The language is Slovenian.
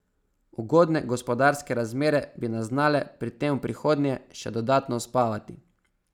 Ugodne gospodarske razmere bi nas znale pri tem v prihodnje še dodatno uspavati.